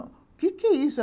O quê que é isso?